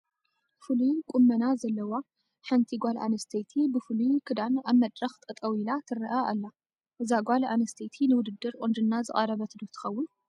ፍሉይ ቁመና ዘለዋ ሓንቲ ጓል ኣንስተይቲ ብፍሉይ ክዳን ኣብ መድረኽ ጠጠው ኢላ ትርአ ኣላ፡፡ እዛ ጓል ኣነስተይቲ ንውድድር ቁንጅና ዝቐረበት ዶ ትኸውን፡፡